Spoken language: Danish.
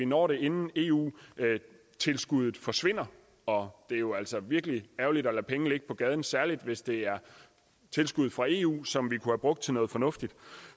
når det inden eu tilskuddet forsvinder og det er jo altså virkelig ærgerligt at lade penge ligge på gaden særlig hvis det er tilskud fra eu som vi kunne have brugt til noget fornuftigt